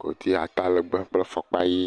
godi atalegbe kple fɔkpa ʋi